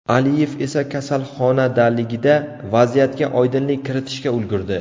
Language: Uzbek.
Aliyev esa kasalxonadaligida vaziyatga oydinlik kiritishga ulgurdi.